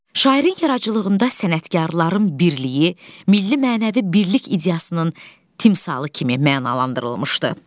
Şairin yaradıcılığında sənətkarların birliyi, milli-mənəvi birlik ideyasının timsalı kimi mənalandırılmışdı.